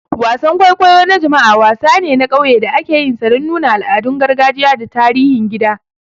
Wasan kwaikwayo na jama'a, wasan ne na ƙauye da akeyinsa dan nuna al'adun gargajiya da tarihin gida.